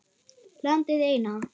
Landið eina.